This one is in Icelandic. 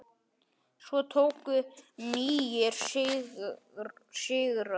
Svo tóku nýir sigrar við.